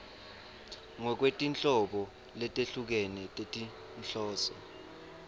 ngekwetinhlobo letehlukene tetinhloso